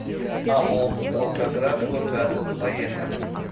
ао волгоградгоргаз поехали